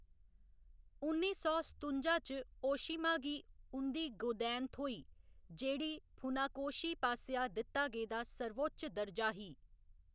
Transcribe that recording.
उन्नी सौ सतुंजा च ओशीमा गी उं'दी गोदैन थ्होई, जेह्‌‌ड़ी फुनाकोशी पासेआ दित्ता गेदा सर्वोच्च दर्जा ही।